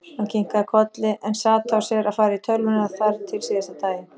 Hann kinkaði kolli en sat á sér að fara í tölvuna þar til síðasta daginn.